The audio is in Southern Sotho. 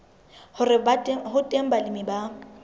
hore ho teng balemi ba